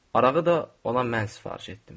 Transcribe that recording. Arağı da ona mən sifariş etdim.